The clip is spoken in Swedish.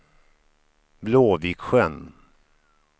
Blåviksjön